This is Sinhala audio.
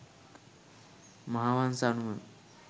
මහාවංස අනුව